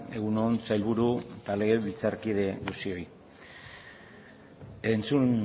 egun on sailburu eta legebiltzarkide guztioi entzun